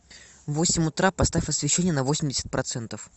в восемь утра поставь освещение на восемьдесят процентов